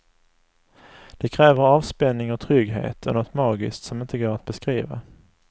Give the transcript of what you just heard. Det kräver avspänning och trygghet och något magiskt som inte går att beskriva.